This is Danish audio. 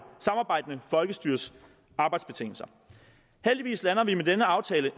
folkestyres arbejdsbetingelser heldigvis lander vi med denne aftale